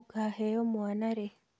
Ũkaheo mwana rĩ?